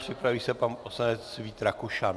Připraví se pan poslanec Vít Rakušan.